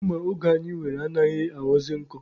Mma oge anyị nwere anaghịkwa aghọzị nkọ.